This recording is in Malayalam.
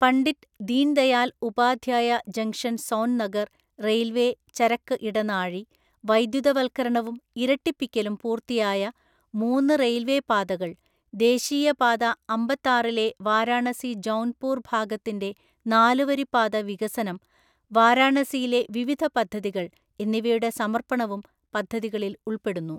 പണ്ഡിറ്റ് ദീൻദയാൽ ഉപാധ്യായ ജംഗ്ഷൻ സോൻനഗർ റെയിൽവേ ചരക്ക് ഇടനാഴി, വൈദ്യുതവൽക്കരണവും ഇരട്ടിപ്പിക്കലും പൂർത്തിയായ മൂന്ന് റെയിൽവേ പാതകൾ, ദേശീയ പാത അമ്പത്താറിലെ വാരാണസി ജൗൻപൂർ ഭാഗത്തിന്റെ നാലുവരിപ്പാത വികസനം, വാരാണസിയിലെ വിവിധ പദ്ധതികൾ എന്നിവയുടെ സമർപ്പണവും പദ്ധതികളിൽ ഉൾപ്പെടുന്നു.